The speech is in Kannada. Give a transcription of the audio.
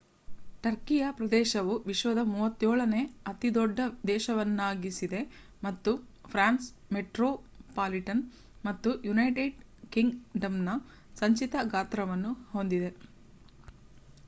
ಟರ್ಕಿಯ ಪ್ರದೇಶವು ವಿಶ್ವದ 37ನೇ ಅತಿದೊಡ್ಡ ದೇಶವನ್ನಾಗಿಸಿದೆ ಮತ್ತು ಫ್ರಾನ್ಸ್‌ ಮೆಟ್ರೋಪಾಲಿಟನ್‌ ಮತ್ತು ಯುನೈಟೆಡ್ ಕಿಂಗ್‌ಡಮ್‌ನ ಸಂಚಿತ ಗಾತ್ರವನ್ನು ಹೊಂದಿದೆ